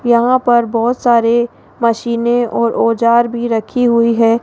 यहां पर बहोत सारे मशीने और औजार भी रखी हुई है।